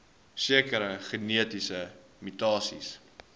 sekere genetiese mutasies